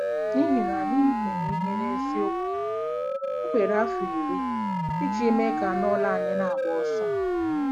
N'ihi na anyị mere ihe n'eziokwu, o were afọ iri iji mee ka anụ ụlọ anyị na-agba ọsọ.